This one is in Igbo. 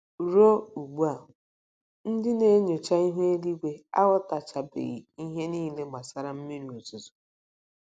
Ruo ugbu a, ndị na - enyocha ihu ígwé aghọtachabeghị ihe niile gbasara mmiri ozuzo.